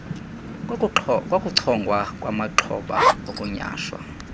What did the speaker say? kokuchongwa kwamaxhoba okunyhashwa